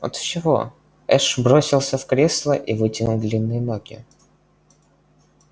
от чего эш бросился в кресло и вытянул длинные ноги